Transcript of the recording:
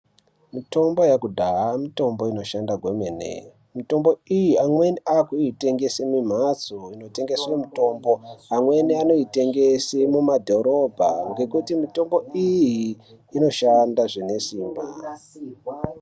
Mitombo yekudhaya mitombo inoshanda kwemene. Mitombo iyi amweni akuitengese mumhatso inotengese mitombo. Amweni anoitengese mumadhorobha ngekuti mitombo iyi inoshanda zvine simba.